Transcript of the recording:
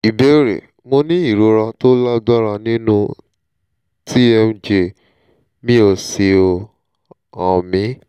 ìbéèrè: mo ní ìrora tó lágbára nínú tmj mi ó sì ń hán mi